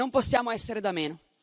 Non possiamo essere da meno.